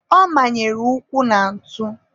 ọ manyere ụkwụ na ntụ.